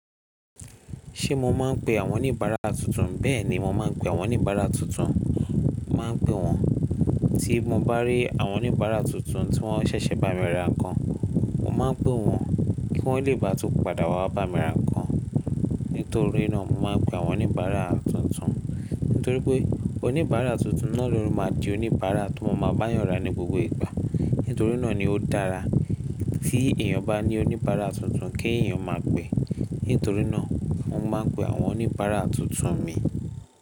Ṣé mo máa ń pe àwọn oníbàárà tuntun? Bẹ́ẹ̀ni, mo máa ń pe àwọn oníbàárà tuntun. Mo máa ń pè wọ́n, ti mo bá rí àwọn oníbàárà tuntun tí wọ́n ṣẹ̀ṣẹ̀ bá mi ra nǹkan, mo máa ń pè wọ́n kí wọ́n lé bá tún padà wá wá bá mi ra nǹkan. Nítorí náà, mo máa ń pe àwọn oníbàárà tuntun. Nítorí pé oníbàárà tuntun náà ló máa di oníbàárà tó máa máa bá yẹn ra ni gbogbo ìgbà. Nítorí náà ni ó dára tí èèyàn bá ní oníbàárà tuntun kí èèyàn máa pè. Nítorí náà, mo máa ń pe àwọn oníbàárà tuntun mi.